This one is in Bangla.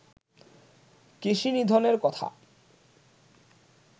কেশিনিধনের কথা